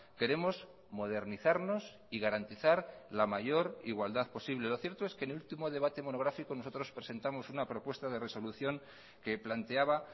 queremos modernizarnos y garantizar la mayor igualdad posible lo cierto es que en el último debate monográfico nosotros presentamos una propuesta de resolución que planteaba